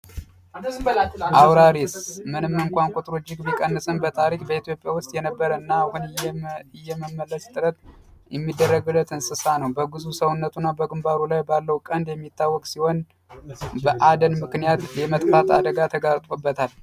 አውራሪስ በታሪክ የነበረና አሁን ላይ ቁጥሩ እጅግ በጣም እየቀነሰ ያለ እንክብካቤ የሚደረግለት እንስሳ ነው በግንባሩ ላይ ቀንድ ያለው ሲሆን በአደን ምክንያት የመጥፋት አደጋ ተጋርጦበታል።